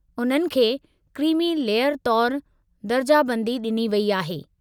उन्हनि खे creamy layer तौरु दर्जाबंदी डि॒नी वई आहे।